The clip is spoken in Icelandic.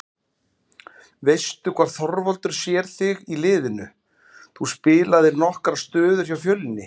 Veistu hvar Þorvaldur sér þig í liðinu, þú spilaðir nokkrar stöður hjá Fjölni?